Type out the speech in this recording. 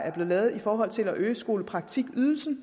er blevet lavet i forhold til at øge skolepraktikydelsen